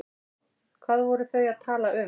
Hvað voru þau að tala um?